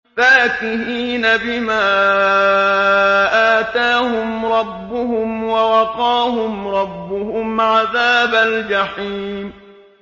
فَاكِهِينَ بِمَا آتَاهُمْ رَبُّهُمْ وَوَقَاهُمْ رَبُّهُمْ عَذَابَ الْجَحِيمِ